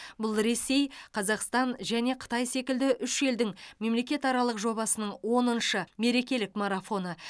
бұл ресей қазақстан және қытай секілді үш елдің мемлекетаралық жобасының оныншы мерекелік марафоны